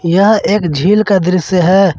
यह एक झील का दृश्य है।